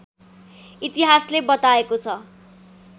इतिहासले बताएको छ